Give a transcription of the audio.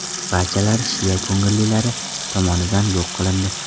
Barchalari shia ko‘ngillilari tomonidan yo‘q qilindi.